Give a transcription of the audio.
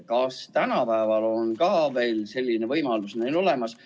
Kas ka tänapäeval on neil veel selline võimalus olemas?